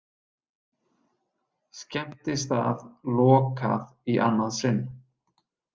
Skemmtistað lokað í annað sinn